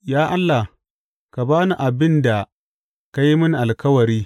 Ya Allah, ka ba ni abin da ka yi mini alkawari.